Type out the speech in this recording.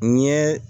N ye